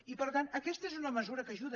i per tant aquesta és una mesura que ajuda